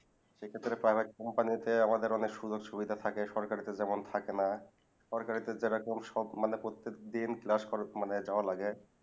সেক্ষত্রে Private company তে আমাদের অনেক সুযোগ সুবিধা থাকে সরকারিতে যেমন থাকে না সরকারিতে যেরকম সব মানে প্রত্যেক দিন class করা মানে যাওয়া লাগে